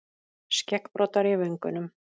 Skeggbroddar í vöngunum.